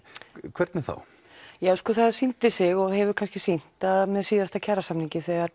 hvernig þá það sýndi sig og hefur kannski sýnt að með síðasta kjarasamningi þegar